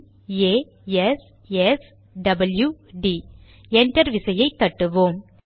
பிP A S S W D enter விசையை தட்டுவோம்